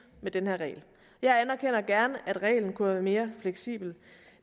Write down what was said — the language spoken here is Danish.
med den her regel jeg anerkender gerne at reglen kunne mere fleksibel